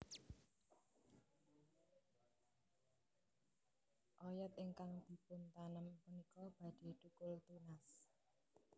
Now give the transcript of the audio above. Oyod ingkang dipuntanem punika badhe thukul tunas